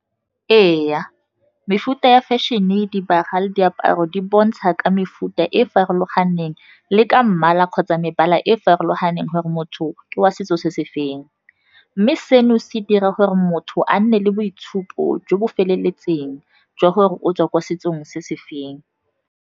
Ee, mefuta ya fashion-e, dibaga le diaparo, di bontsha ka mefuta e farologaneng le ka mmala kgotsa mebala e e farologaneng gore motho ke wa setso se se feng, mme seno se dira gore motho a nne le boitshupo jo bo feleletseng jwa gore o tswa ko setsong se se feng.